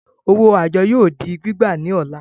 Owó àjọ yóò di gbígbà ní ọ̀la